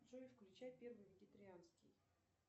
джой включай первый вегетарианский